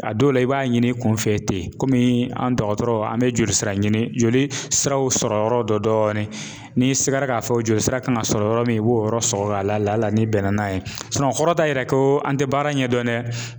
A dɔw la i b'a ɲini kun fɛ ten kɔmi an dɔgɔtɔrɔ an bɛ joli sira ɲini jolisiraw sɔrɔ yɔrɔ dɔ dɔɔnin n'i sigara k'a fɔ joli sira kan ka sɔrɔ yɔrɔ min i b'o yɔrɔ sɔgɔ la n'i bɛn na n'a ye o kɔrɔta yɛrɛ ko an tɛ baara in ɲɛ dɔn dɛ